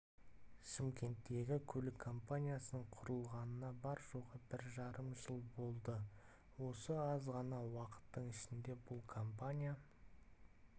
шымкенттегі көлік компаниясының құрылғанына бар-жоғы бір жарым жыл болады осы аз ғана уақыттың ішінде бұл компания